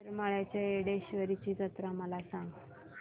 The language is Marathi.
येरमाळ्याच्या येडेश्वरीची जत्रा मला सांग